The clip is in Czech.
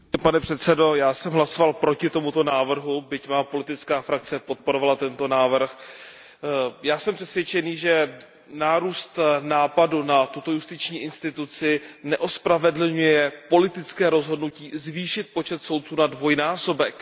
Pane předsedající, já jsem hlasoval proti tomuto návrhu, byť má politická frakce podporovala tento návrh. Já jsem přesvědčený, že nárůst náporu na tuto justiční instituci neospravedlňuje politické rozhodnutí zvýšit počet soudců na dvojnásobek.